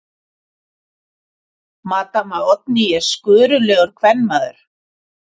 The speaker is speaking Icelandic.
Maddama Oddný er skörulegur kvenmaður.